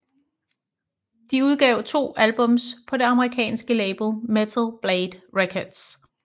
De udgav to albums på det amerikanske label Metal Blade Records